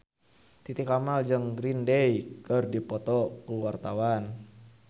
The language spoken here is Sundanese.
Titi Kamal jeung Green Day keur dipoto ku wartawan